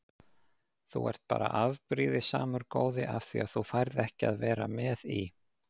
Þú ert bara afbrýðisamur góði af því að þú færð ekki að vera með í